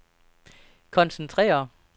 koncentrere